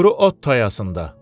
Quru ot tayasında.